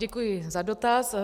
Děkuji za dotaz.